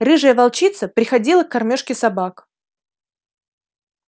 рыжая волчица приходила к кормёжке собак